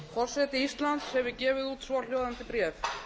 forseti íslands hefur gefið út svohljóðandi bréf